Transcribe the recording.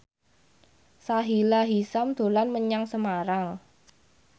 Sahila Hisyam dolan menyang Semarang